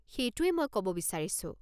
সেইটোৱেই মই ক'ব বিচাৰিছোঁ।